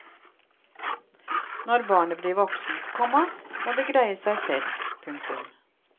Når barnet blir voksent, komma må det greie seg selv. punktum